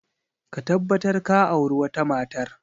Ka tabbatar ka auri wata matar!